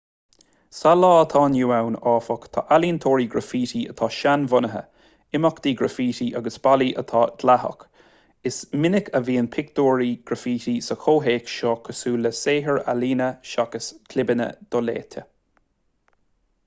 sa lá atá inniu ann áfach tá ealaíontóirí graifítí atá seanbhunaithe imeachtaí graifítí agus ballaí atá dleathach is minic a bhíonn pictiúir ghraifítí sa chomhthéacs seo cosúil le saothair ealaíne seachas clibeanna doléite